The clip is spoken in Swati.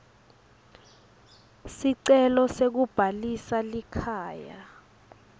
sicelo sekubhalisa likhaya